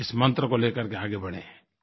इस मंत्र को ले करके आगे बढ़ें